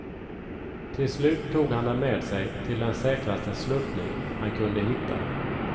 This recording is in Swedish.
Till slut tog han dem med sig till den säkraste sluttning han kunde hitta.